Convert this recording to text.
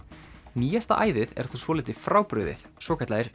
nýjasta æðið er þó svolítið frábrugðið svokallaðir